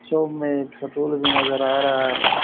Show में एक सटुल भी नजर आ रहा है।